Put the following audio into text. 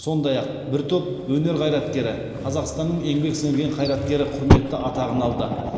сондай ақ бір топ өнер қайраткері қазақстанның еңбек сіңірген қайраткері құрметті атағын алды